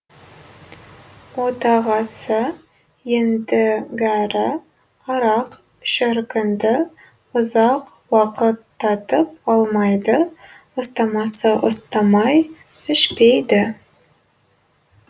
отағасы ендігәрі арақ шіркінді ұзақ уақыт татып алмайды ұстамасы ұстамай ішпейді